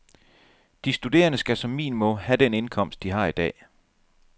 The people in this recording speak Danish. De studerende skal som minimum have den indkomst, de har i dag.